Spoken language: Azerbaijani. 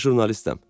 Mən jurnalistəm.